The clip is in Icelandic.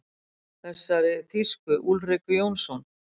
Þessari þýsku: Úlriku Jónsson.